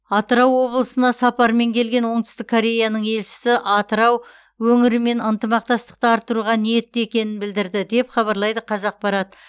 атырау облысына сапармен келген оңтүстік кореяның елшісі атырау өңірімен ынтымақтастықты арттыруға ниетті екенін білдірді деп хабарлайды қазақпарат